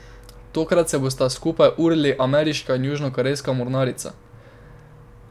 Tokrat se bosta skupaj urili ameriška in južnokorejska mornarica.